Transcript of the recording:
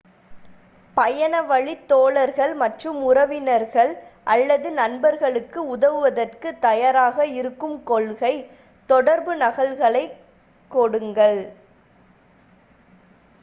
பயணவழித் தோழர்கள் மற்றும் உறவினர்கள் அல்லது நண்பர்களுக்கு உதவுதற்குத் தயாராக இருக்கும் கொள்கை / தொடர்பு நகல்களைக் கொடுங்கள்